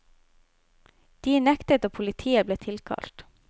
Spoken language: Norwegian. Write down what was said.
De nektet og politi ble tilkalt.